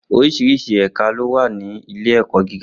Oríṣiríṣi ẹ̀ka ló wà ní ilé-ẹ̀kọ́ gíga.